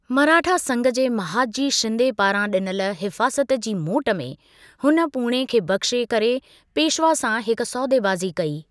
मराठा संघ जे महादजी शिंदे पारां ॾिनल हिफाज़त जी मोट में हुन पूणे खे बख़्शे करे पेशवा सां हिक सौदेबाज़ी कई।